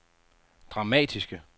dramatiske